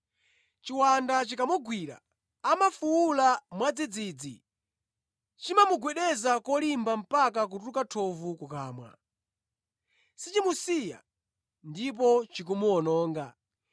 Chiwanda chikamugwira amafuwula mwadzidzidzi; chimamugwedeza kolimba mpaka kutuluka thovu kukamwa. Sichimusiya ndipo chikumuwononga.